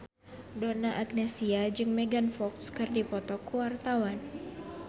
Donna Agnesia jeung Megan Fox keur dipoto ku wartawan